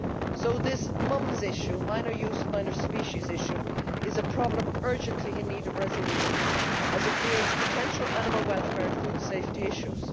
So this Minor Use Minor Species issue is a problem urgently in need of resolution as it creates potential animal welfare and food safety issues.